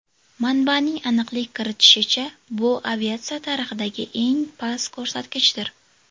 Manbaning aniqlik kiritishicha, bu aviatsiya tarixidagi eng past ko‘rsatkichdir.